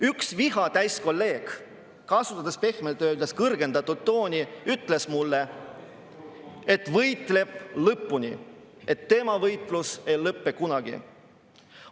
Üks viha täis kolleeg, kasutades pehmelt öeldes kõrgendatud tooni, ütles mulle, et võitleb lõpuni, tema võitlus ei lõpe kunagi.